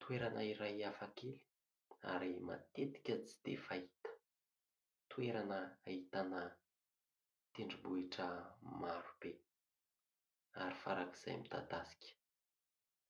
Toerana iray hafakely ary matetika tsy dia fahita. Toerana ahitana tendrombohitra marobe ary farakizay midadasika.